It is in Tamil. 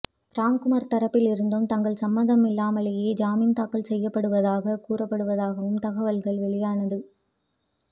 ராம்குமார் தரப்பிலிருந்தும் தங்கள் சம்மதம் இல்லாமலேயே ஜாமின் தாக்கல் செய்யப்படுவதாகக் கூறப்படுவதாகவும் தகவல்கள் வெளியானது